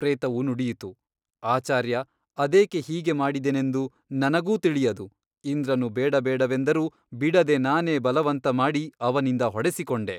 ಪ್ರೇತವು ನುಡಿಯಿತು ಆಚಾರ್ಯ ಅದೇಕೆ ಹೀಗೆ ಮಾಡಿದೆನೆಂದು ನನಗೂ ತಿಳಿಯದು ಇಂದ್ರನು ಬೇಡಬೇಡವೆಂದರೂ ಬಿಡದೆ ನಾನೇ ಬಲವಂತ ಮಾಡಿ ಅವನಿಂದ ಹೊಡೆಸಿಕೊಂಡೆ.